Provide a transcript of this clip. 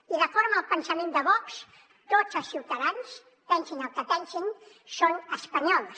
i d’acord amb el pensament de vox tots els ciutadans pensin el que pensin són espanyols